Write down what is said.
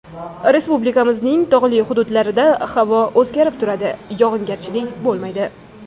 Respublikamizning tog‘li hududlarida havo o‘zgarib turadi, yog‘ingarchilik bo‘lmaydi.